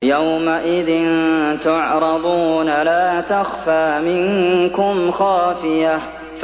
يَوْمَئِذٍ تُعْرَضُونَ لَا تَخْفَىٰ مِنكُمْ خَافِيَةٌ